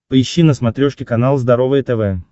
поищи на смотрешке канал здоровое тв